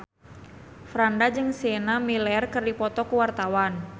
Franda jeung Sienna Miller keur dipoto ku wartawan